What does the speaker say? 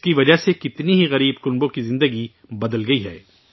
اس کی وجہ سے کتنے ہی غریب خاندانوں کی زندگی بدل گئی ہے